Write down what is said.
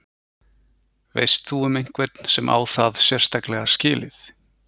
Veist þú um einhvern sem á það sérstaklega skilið?